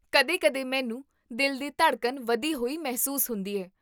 ਕਦੇ ਕਦੇ ਮੈਨੂੰ ਦਿਲ ਦੀ ਧੜਕਣ ਵਧੀ ਹੋਈ ਮਹਿਸੂਸ ਹੁੰਦੀ ਹੈ